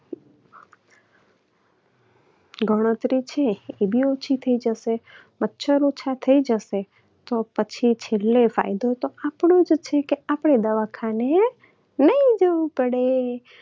ગણતરી છે એ પણ ઓછી થઇ જશે. મચ્છર ઓછા થઇ જશે તો પછી છેલ્લે ફાયદો તો આપણો જ છે કે આપણે દવાખાને નહિ જવું પડે